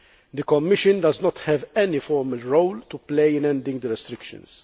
The Commission does not have any formal role to play in ending the restrictions.